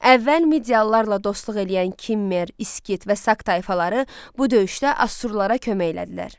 Əvvəl Midiyalılarla dostluq eləyən Kimmer, İskit və Sak tayfaları bu döyüşdə Asurlara kömək elədilər.